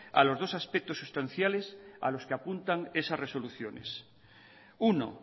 a los dos aspectos sustanciales a los que apuntan esas resoluciones uno